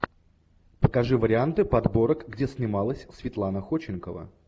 покажи варианты подборок где снималась светлана ходченкова